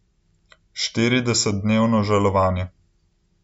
Štiridesetdnevno žalovanje.